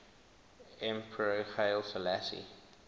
emperor haile selassie